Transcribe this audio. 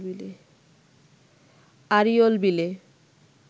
আড়িয়ল বিলে